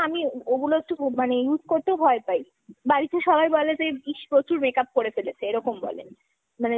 আমি ওগুলো একটু মানে use করতেও ভয় পাই। বাড়িতে সবাই বলে যে ইস প্রচুর makeup করে ফেলেছে এরকম বলে। মানে